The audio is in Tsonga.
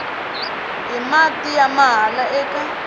hi mati ya mahala eka